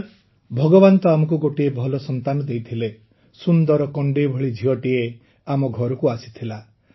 sir ଭଗବାନ ତ ଆମକୁ ଗୋଟିଏ ଭଲ ସନ୍ତାନ ଦେଇଥିଲେ ସୁନ୍ଦର କଣ୍ଢେଇ ଭଳି ଝିଅଟିଏ ଆମ ଘରକୁ ଆସିଥିଲା